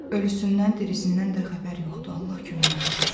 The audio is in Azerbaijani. Ölüsündən, dirisindən də xəbər yoxdur, Allah köməyində dursun.